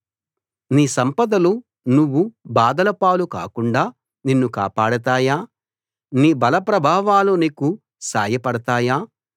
నీ సంపదలు నువ్వు బాధల పాలు కాకుండా నిన్ను కాపాడతాయా నీ బల ప్రభావాలు నీకు సాయపడతాయా